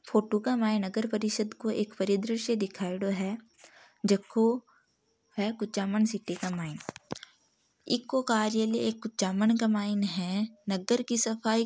फोटो के माय नगर परिषद को एक बड़ा दृश्य दिखायोडो हैं जको है कुचामण सिटी के मायने इको कार्यलय एक कुचामण के मायने हैं नगर की सफाई --